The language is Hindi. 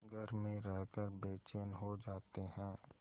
घर में रहकर बेचैन हो जाते हैं